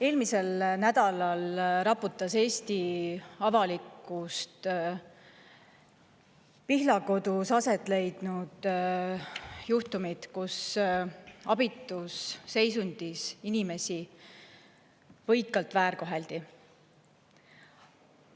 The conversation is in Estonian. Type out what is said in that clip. Eelmisel nädalal raputasid Eesti avalikkust Pihlakodus aset leidnud juhtumid, kus abitus seisundis inimesi võikalt väärkoheldi.